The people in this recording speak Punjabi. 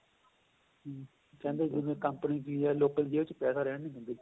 ਕਹਿੰਦੇ ਜਿਵੇਂ ਕੰਪਨੀ ਵੀ ਏ ਲੋਕਾਂ ਦੀ ਜੇਬ ਕਹਿ ਤਾਂ ਰਿਹਾਂ ਵੀ ਹੁੰਦੇ ਨਹੀਂ